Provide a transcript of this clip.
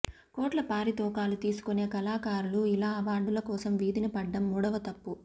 కోట్ల పారితోకాలు తీసుకునే కళాకారులు ఇలా అవార్డుల కోసం వీధిన పడ్డం మూడవ తప్పు